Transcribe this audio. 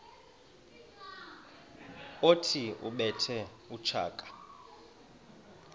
othi ubethe utshaka